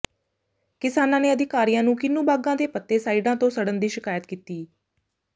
ਕਿਸਾਨਾਂ ਨੇ ਅਧਿਕਾਰੀਆਂ ਨੂੰ ਕਿੰਨੂ ਬਾਗਾਂ ਦੇ ਪੱਤੇ ਸਾਈਡਾਂ ਤੋਂ ਸੜਨ ਦੀ ਸ਼ਿਕਾਇਤ ਕੀਤੀ